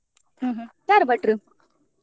ಹ್ಮ್ ಹ್ಮ್ ಯಾರು ಭಟ್ರು?